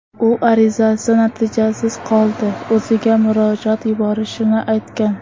U arizasi natijasiz qolsa, o‘ziga murojaat yuborishini aytgan.